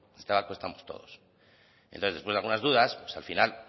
en este barco estamos todos entonces después de algunas dudas pues al final